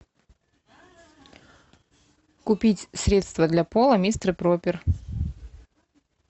купить средство для пола мистер пропер